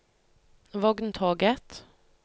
vogntoget